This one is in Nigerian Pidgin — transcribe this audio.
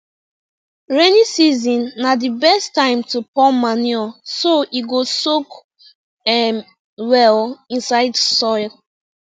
rainy season na the best time to pour manure so e go soak um well inside soil